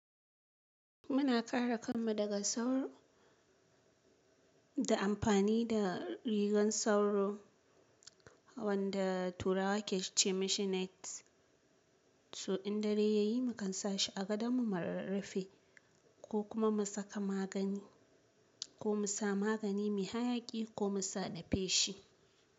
Muna kare kanmu daga sauro da amfani da rigar sauro wanda turawa ke ce ma shi net. So in dare ya yi, mu kan sa shi a gadon mu mu rarrafe ko kuma mu saka magani ko mu sa magani mai hayaki ko mu sa na feshi.